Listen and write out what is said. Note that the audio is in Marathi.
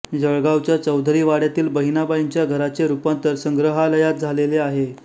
जळगावच्या चौधरी वाड्यातील बहिणाबाईंच्या घराचे रूपांतर संग्रहालयात झालेले आहे